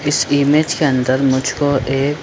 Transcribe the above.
इस इमेज के अंदर मुझको एक--